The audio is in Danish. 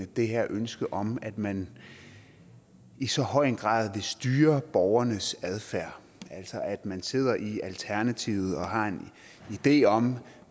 det her ønske om at man i så høj grad vil styre borgernes adfærd man sidder i alternativet og har en idé om